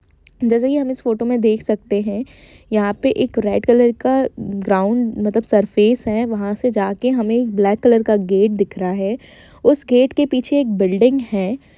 जैसा की हम इस फोटो में देख सकते है यहां पे एक रेड कलर का ग्राउड़ मतलब सरफेस है वहां से जाके हमें एक ब्लैक कलर का गेट दिख रहा है उस गेट के पीछे एक बिल्डिग है।